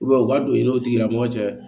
u b'a don i n'o tigilamɔgɔ cɛ